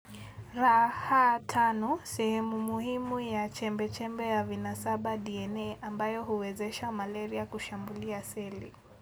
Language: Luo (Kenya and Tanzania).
rh5 - sehemu muhimu ya chembe chembe ya vinasaba DNA ambayo huwezesha malaria kushambulia celi